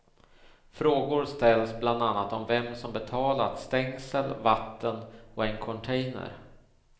Frågor ställs bland annat om vem som betalat stängsel, vatten och en container.